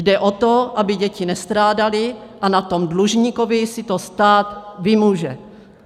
Jde o to, aby děti nestrádaly, a na tom dlužníkovi si to stát vymůže.